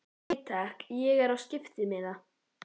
Nei takk, ég er á skiptimiða.